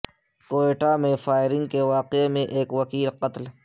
کوئٹہ میں فائرنگ کے واقعے میں ایک وکیل قتل